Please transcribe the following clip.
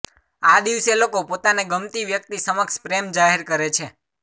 આ દિવસે લોકો પોતાને ગમતી વ્યક્તિ સમક્ષ પ્રેમ જાહેર કરે છે